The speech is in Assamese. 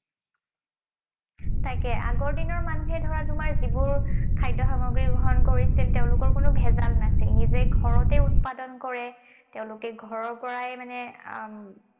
তাকে আগৰ দিনৰ মানুহে ধৰা তোমাৰ যিবোৰ খাদ্য সামগ্ৰী গ্ৰহণ কৰিছিল, তেওঁলোকৰ কোনো ভেজাল নাছিল। নিজে ঘৰতেই উৎপাদন কৰে, তেওঁলোকে ঘৰৰ পৰাই মানে আহ